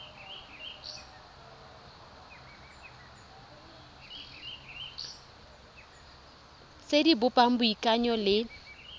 tse di bopang boikanyo le